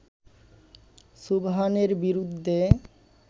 সুবহানের বিরুদ্ধে